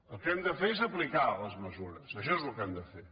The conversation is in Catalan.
el que hem de fer és aplicar les mesures això és el que hem de fer